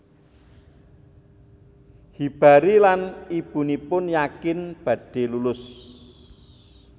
Hibari lan ibunipun yakin badhe lulus